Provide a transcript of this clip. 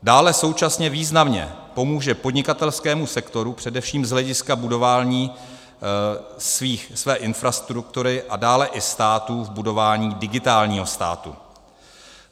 Dále současně významně pomůže podnikatelskému sektoru především z hlediska budování své infrastruktury a dále i státu v budování digitálního státu.